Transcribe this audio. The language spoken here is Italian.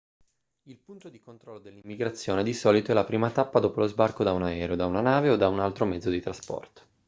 il punto di controllo dell'immigrazione di solito è la prima tappa dopo lo sbarco da un aereo da una nave o da un altro mezzo di trasporto